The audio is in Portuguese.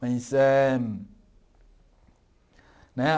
Mas é... Né?